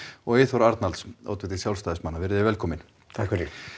og Eyþór Arnalds oddviti veriði velkomin takk